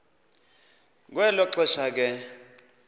kwelo xesha ke